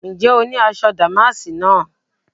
Ǹjẹ́ o ní aṣọ dàmáàsì náà?